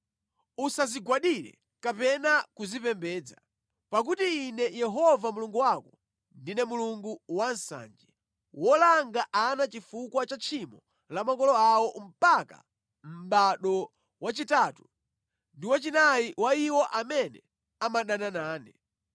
Usazigwadire kapena kuzipembedza, pakuti Ine Yehova Mulungu wako, ndine Mulungu wansanje, wolanga ana chifukwa cha tchimo la makolo awo mpaka mʼbado wachitatu ndi wachinayi wa iwo amene amadana nane,